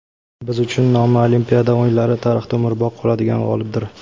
biz uchun nomi Olimpiada o‘yinlari tarixida umrbod qoladigan g‘olibdir.